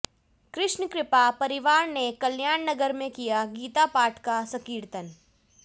कृष्ण कृपा परिवार ने कल्याण नगर में किया गीता पाठ व संकीर्तन